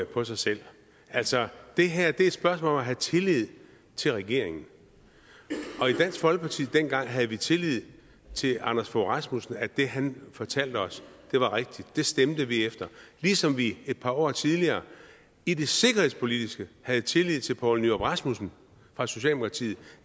på sig selv altså det her er et spørgsmål om at have tillid til regeringen og i dansk folkeparti dengang havde vi tillid til anders fogh rasmussen at det han fortalte os var rigtigt det stemte vi efter ligesom vi et par år tidligere i det sikkerhedspolitiske havde tillid til poul nyrup rasmussen fra socialdemokratiet